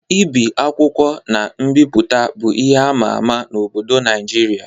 Ibi akwụkwọ na mbipụta bụ ihe ama ama n'obodo Naịjirịa.